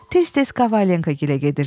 Tez-tez Kovalenkagilə gedirdi.